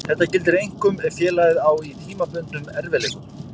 Þetta gildir einkum ef félagið á í tímabundnum erfiðleikum.